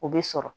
O bɛ sɔrɔ